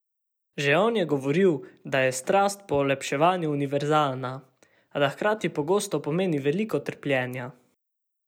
Že on je govoril, da je strast po olepšavanju univerzalna, a da hkrati pogosto pomeni veliko trpljenja.